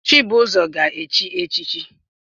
Chibuzor ga-echi echichi